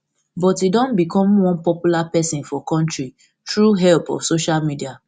but e don become one popular pesin for kontri through help of social media